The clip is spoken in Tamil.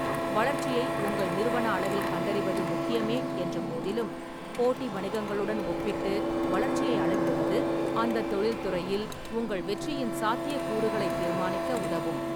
வளர்ச்சியை உங்கள் நிறுவன அளவில் கண்டறிவது முக்கியமே என்றபோதிலும், போட்டி வணிகங்களுடன் ஒப்பிட்டு வளர்ச்சியை அளவிடுவது அந்தத் தொழில்துறையில் உங்கள் வெற்றியின் சாத்தியக்கூறுகளைத் தீர்மானிக்க உதவும்.